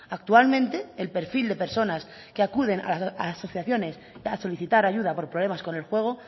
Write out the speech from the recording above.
actualmente el perfil de personas que acuden a asociaciones a solicitar ayuda por problemas con el juego